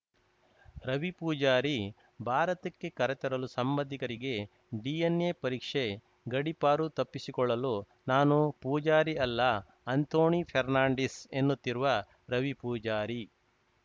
ರವಿ ಪೂಜಾರಿ ಭಾರತಕ್ಕೆ ಕರೆತರಲು ಸಂಬಂಧಿಕರಿಗೆ ಡಿಎನ್‌ಎ ಪರೀಕ್ಷೆ ಗಡಿಪಾರು ತಪ್ಪಿಸಿಕೊಳ್ಳಲು ನಾನು ಪೂಜಾರಿ ಅಲ್ಲ ಆಂಥೋಣಿ ಫೆರ್ನಾಂಡೀಸ್‌ ಎನ್ನುತ್ತಿರುವ ರವಿ ಪೂಜಾರಿ